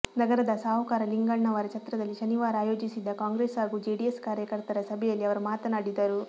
ನಗರದ ಸಾಹುಕಾರ ಲಿಂಗಣ್ಣವರ ಛತ್ರದಲ್ಲಿ ಶನಿವಾರ ಆಯೋಜಿಸಿದ್ದ ಕಾಂಗ್ರೆಸ್ ಹಾಗೂ ಜೆಡಿಎಸ್ ಕಾರ್ಯಕರ್ತರ ಸಭೆಯಲ್ಲಿ ಅವರು ಮಾತನಾಡಿದರು